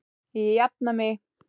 Ég jafna mig.